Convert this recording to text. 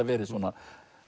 verið svona